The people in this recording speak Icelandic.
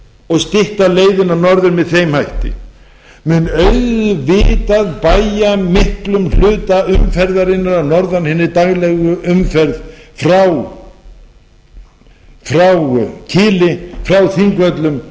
og stytta leiðina norður með þeim hætti mun auðvitað bægja miklum hluta umferðarinnar að norðan hinni daglegu umferð frá kili frá þingvöllum